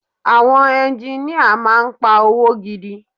Àwọn engineer máà ń pa owó gidi.